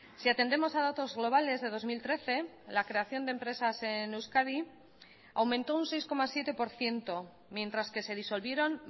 si atendemos a datos globales de dos mil trece la creación de empresas en euskadi aumentó un seis coma siete por ciento mientras que se disolvieron